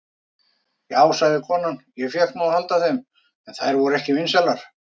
Já, sagði konan, ég fékk nú að halda þeim, en þær voru ekki vinsælar.